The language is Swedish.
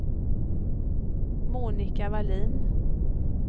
Monika Vallin